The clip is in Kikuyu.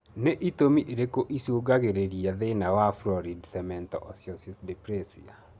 Nĩ itũmi irĩkũ icũngagĩrĩria thĩna wa florid cemento osseous dysplasia?